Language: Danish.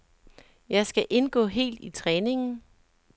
Jeg skal indgå helt i træningen.